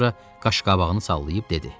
Sonra qaşqabağını sallayıb dedi: